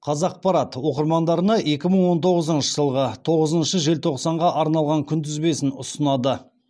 қазақпарат оқырмандарына екі мың он тоғызыншы жылғы тоғызыншы желтоқсанға арналған күнтізбесін ұсынады